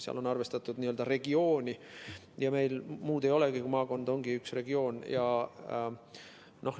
Seal on arvestatud n-ö regiooni ja meil muud ei olegi, maakond ongi üks regioon.